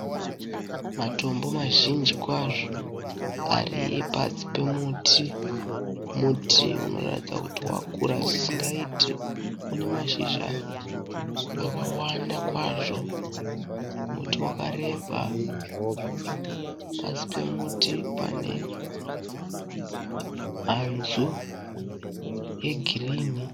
Matombo mazhinji kwazvo ari pasi pemuti. Muti unotaridza kuti wakura zvisingaite. Une mashizha akawanda kwazvo. Muti wakareba. Pasi pemuti pane hanzu yegirinhi.